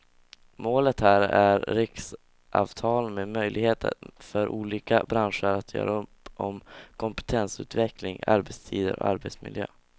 Målet här är riksavtal med möjlighet för olika branscher att göra upp om kompetensutveckling, arbetstider och arbetsmiljö.